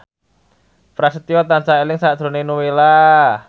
Prasetyo tansah eling sakjroning Nowela